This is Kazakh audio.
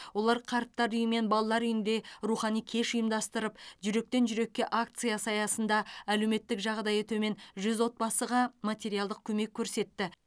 олар қарттар үйі мен балалар үйінде рухани кеш ұйымдастырып жүректен жүрекке акциясы аясында әлеуметтік жағдайы төмен жүз отбасыға материалдық көмек көрсетті